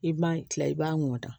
I b'a kila i b'a mɔta